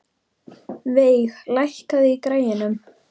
Veig, lækkaðu í græjunum.